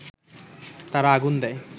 তারা আগুন দেয়